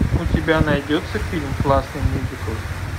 у тебя найдется фильм классный мюзикл